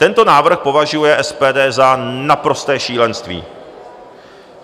Tento návrh považuje SPD za naprosté šílenství.